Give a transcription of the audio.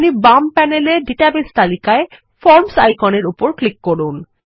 আপনি বাম প্যানেলের ডাটাবেস তালিকায় ফরমসআইকনের উপর ক্লিক করুন